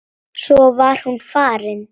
Svo var hún farin.